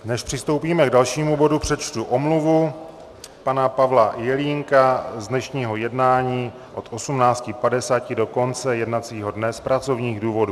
Než přistoupíme k dalšímu bodu, přečtu omluvu pana Pavla Jelínka z dnešního jednání od 18.50 do konce jednacího dne z pracovních důvodů.